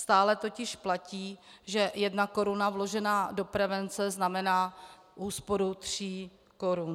Stále totiž platí, že jedna koruna vložená do prevence znamená úsporu tří korun.